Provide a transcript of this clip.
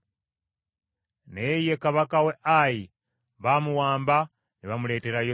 Naye ye kabaka w’e Ayi baamuwamba ne bamuleetera Yoswa.